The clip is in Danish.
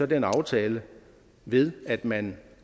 den aftale ved at man